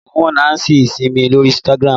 Mo mọ Nancy Isime lórí Instagram